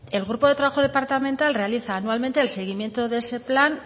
el grupo de trabajo departamental realiza anualmente el seguimiento de ese plan